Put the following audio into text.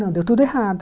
Não, deu tudo errado.